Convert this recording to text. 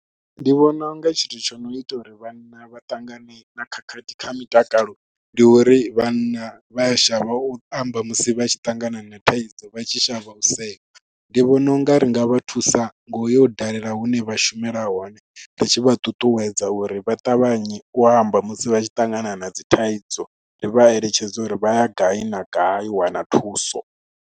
Ndi vhona u nga tshithu tsho no ita uri vhanna vha ṱangane na khakhathi kha mitakalo ndi uri vhanna vha a shavha u amba musi vha tshi ṱangana na thaidzo vha tshi shavha u sewa. Ndi vhona u nga ri nga nga vha thusa ngo ya u dalela hune vha shumela hone, ri tshi vha ṱuṱuwedza uri vha ṱavhanye u amba musi vha tshi ṱangana na dzi thaidzo, ri vha eletshedze uri vha ya gai na gai u wana thuso.